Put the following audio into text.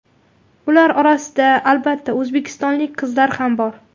Ular orasida albatta o‘zbekistonlik qizlar ham bor.